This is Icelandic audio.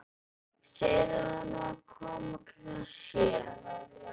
Segðu honum að koma klukkan sjö.